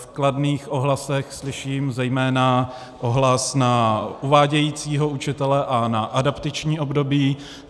V kladných ohlasech slyším zejména ohlas na uvádějícího učitele a na adaptační období.